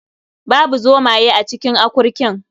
Babu zomaye a cikin akurkin.